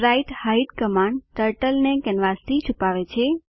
sprite hide command turtle કેનવાસથી છુપાવે છે